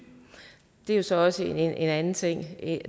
det er så også en anden ting